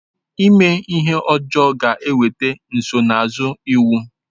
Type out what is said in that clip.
Ime ihe ọjọọ ga-eweta nsonaazụ iwu.